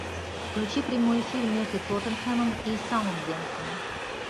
включи прямой эфир между тоттенхэмом и саутгемптоном